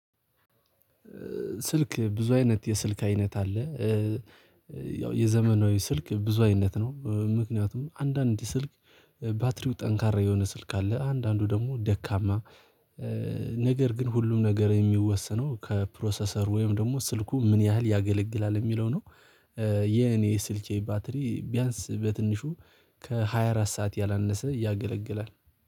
ስልክ ብዙ አይነት የስልክ አይነት አለ። ያው የዘመናዊ ስልክ ብዙ አይነት ነው። ምክንያቱም አንዳንድ ስልክ ባትሪው ጠንካራ የሆነ ስልክ አለ አንዳንዱ ደግሞ ደካማ። ግን ሁሉም ነገር የሚወሰነው ከፕሮሰሰር ወይም ደግሞ ስልኩ ምን ያህል ያገለግላል የሚለው ነው። የኔ የስልኬ ባትሪ ቢያንስ በትንሹ ከሃያ አራት ሰዓት ያላነሰ ያገለግላል